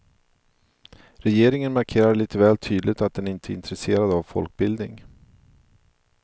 Regeringen markerar lite väl tydligt att den inte är intresserad av folkbildning.